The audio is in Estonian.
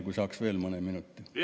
Kui saaks veel mõne minuti?